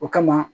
O kama